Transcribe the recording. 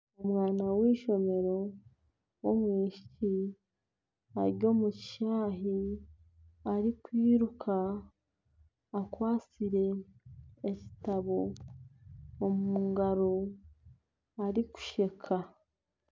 Omwana w'eishomero w'omwishiki ari omu kishaayi arikwiruka akwasire ekitabo omu ngaro arikusheka.